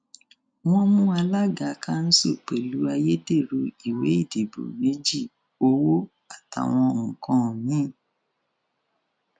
wọn mú alága kanṣu pẹlú ayédèrú ìwé ìdìbò mẹgí owó àtàwọn nǹkan mi